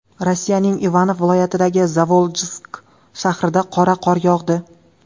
Rossiyaning Ivanov viloyatidagi Zavoljsk shahrida qora qor yog‘di.